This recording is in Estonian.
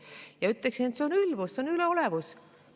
Ja ütleksin, et see on ülbus ja üleolevus.